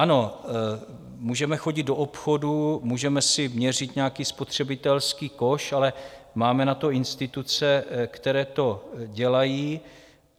Ano, můžeme chodit do obchodů, můžeme si měřit nějaký spotřebitelský koš, ale máme na to instituce, které to dělají.